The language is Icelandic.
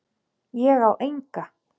Ég á enga.